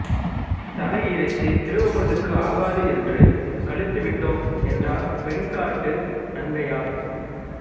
தலை இறைச்சி திருவமுதுக்கு ஆகாதென்று கழித்துவிட்டோம் என்றார் வெண்காட்டு நங்கையார்